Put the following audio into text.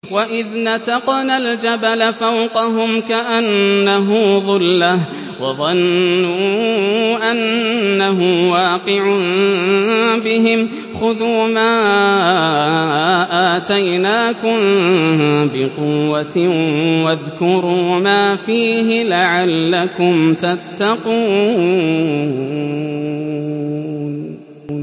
۞ وَإِذْ نَتَقْنَا الْجَبَلَ فَوْقَهُمْ كَأَنَّهُ ظُلَّةٌ وَظَنُّوا أَنَّهُ وَاقِعٌ بِهِمْ خُذُوا مَا آتَيْنَاكُم بِقُوَّةٍ وَاذْكُرُوا مَا فِيهِ لَعَلَّكُمْ تَتَّقُونَ